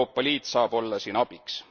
Euroopa Liit saab olla siin abiks.